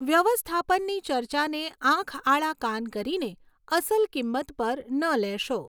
વ્યવસ્થાપનની ચર્ચાને આંખ આડા કાન કરીને અસલ કિંમત પર ન લેશો.